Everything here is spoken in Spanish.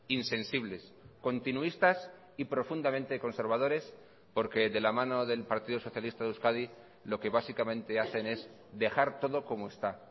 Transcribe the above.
insensibles continuistas y profundamente conservadores porque de la mano del partido socialista de euskadi lo que básicamente hacen es dejar todo como está